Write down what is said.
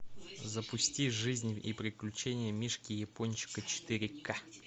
запусти жизнь и приключения мишки япончика четыре ка